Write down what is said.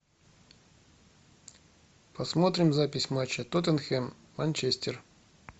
посмотрим запись матча тоттенхэм манчестер